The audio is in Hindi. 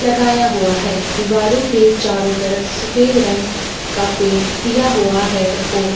लगाया हुआ है। दीवारों के चारों तरफ सफेद रंग का पैंट किया हुआ है।